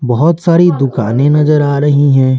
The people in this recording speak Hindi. बहुत सारी दुकानें नजर आ रही हैं।